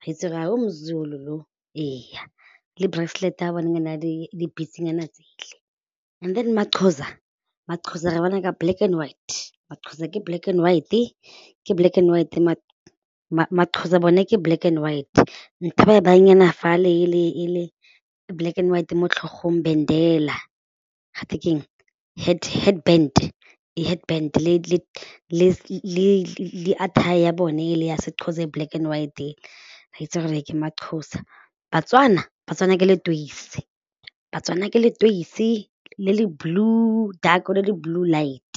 wa itse gore yo mo-Zulu yo, ee le bracelet ya bona e na le di-beads nyana tsele and then ma-Xhosa, ma-Xhosa re bona ka black and white, ma-Xhosa ke black and white-e ke black and white, ma-Xhosa bone ke black and white ntho e ba e baya nyana fale ele e black white mo tlhogong ga twe ke eng head bend ee head bend le attire ya bone ele ya se-Xhosa e black and white re itse gore ke ma-Xhosa, Batswana, Batswana ke leteise Batswana ke leteise le le blue dark or le le blue light.